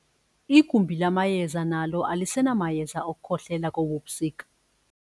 Igumbi lamayeza nalo alisenamayeza okukhohlela kobu busika.